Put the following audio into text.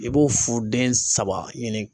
I b'o fu den saba ɲini